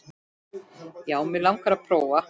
Já, mig langar að prófa.